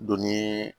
Donni